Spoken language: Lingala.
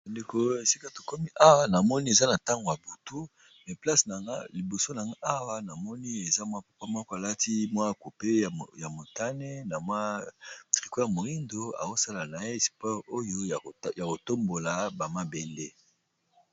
Ba ndeko esika to komi awa na moni eza na ntango ya butu me place na nga liboso na nga awa namoni eza mwa papa moko a lati mwa cupe ya motane na mwa tricot moyindo azo sala na sport oyo ya ko tombola ba mabende